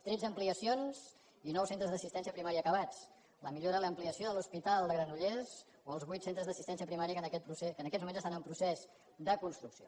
tretze ampliacions i nou centres d’assistència primària acabats la millora i l’ampliació de l’hospital de granollers o els vuit centres d’assistència primària que en aquests moments estan en procés de construcció